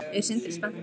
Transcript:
Er Sindri spenntur?